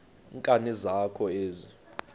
nkani zakho ezi